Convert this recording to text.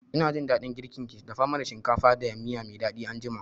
Ina jin daɗin girkin ki, dafa mana shinkafa da miya mai daɗi anjima